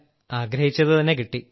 ആഗ്രഹിച്ചതുതന്നെ കിട്ടി